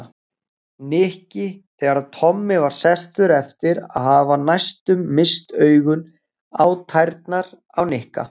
Nikki þegar Tommi var sestur eftir að hafa næstum misst augun á tærnar á Nikka.